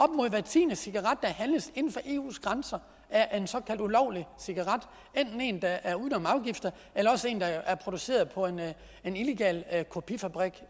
mod hver tiende cigaret der handles inden for eus grænser er en såkaldt ulovlig cigaret enten en der er gået uden om afgifter eller en der er produceret på en illegal kopifabrik